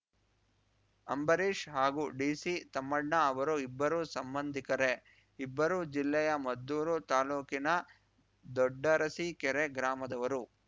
ಅಂಬರೀಶ್ ಹಾಗೂ ಡಿಸಿ ತಮ್ಮಣ್ಣ ಅವರು ಇಬ್ಬರೂ ಸಂಬಂಧಿಕರೇ ಇಬ್ಬರೂ ಜಿಲ್ಲೆಯ ಮದ್ದೂರು ತಾಲೂಕಿನ ದೊಡ್ಡರಸಿಕೆರೆ ಗ್ರಾಮದವರು